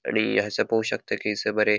आणि पोळो शकता की हयसर बरे --